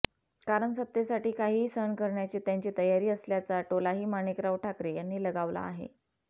कारण सत्तेसाठी काहीही सहन करण्याची त्यांची तयारी असल्याचा टोलाही माणिकराव ठाकरे यांनी लगावला आहे